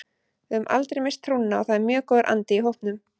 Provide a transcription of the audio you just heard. Við höfum aldrei misst trúna og það er mjög góður andi í hópnum.